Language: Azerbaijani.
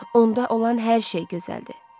Onda olan hər şey gözəldir.